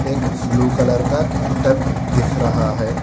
एक blue colour का tub दिख रहा है।